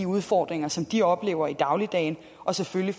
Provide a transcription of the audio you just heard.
udfordringer som de oplever i dagligdagen og selvfølgelig